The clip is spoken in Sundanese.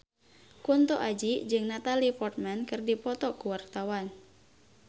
Kunto Aji jeung Natalie Portman keur dipoto ku wartawan